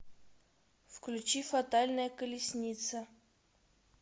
включи фатальная колесница